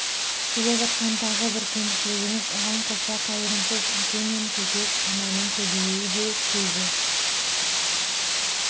келе жатқан тағы бір кемшілігіміз оған қоса қайырымсыз әке мен көкек ананың көбеюі де көзі